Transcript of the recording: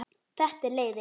Þetta er leiðin.